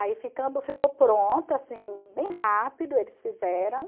Aí ficandi ficou pronto, assim, bem rápido, eles fizeram.